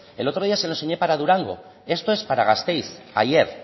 el otro día se lo enseñé para durango esto es para gasteiz ayer